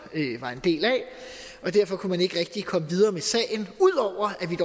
var en del af og derfor kunne man ikke rigtig komme videre med sagen